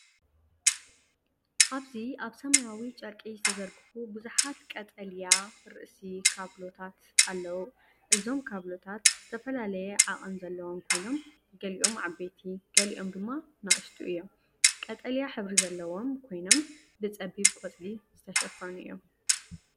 ኣብዚ ኣብ ሰማያዊ ጨርቂ ዝተዘርግሑ ብዙሓት ቀጠልያ ርእሲ ካብሎታት ኣለዉ። እዞም ካብሎታት ዝተፈላለየ ዓቐን ዘለዎም ኮይኖም ገሊኦም ዓበይቲ ገሊኦም ድማ ንኣሽቱ እዮም። ቀጠልያ ሕብሪ ዘለዎም ኮይኖም ብጸቢብ ቆጽሊ ዝተሸፈኑ እዮም።